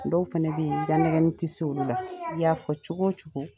Dɔw fɛnɛ be yen, i ka nɛgɛni ti s'olu la i y'a fɔ cogo o cogo.